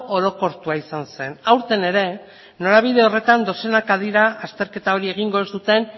orokortua izan zen aurten ere norabide horretan dozenaka dira azterketa hori egingo ez duten